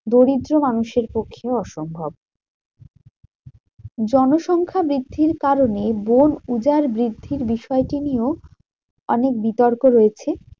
দরিদ্র মানুষের পক্ষে অসম্ভব। জনসংখ্যা বৃদ্ধির কারণে বন উজাড় বৃদ্ধির বিষয়টি নিয়েও অনেক বিতর্ক রয়েছে।